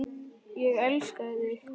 Ég elskaði þig.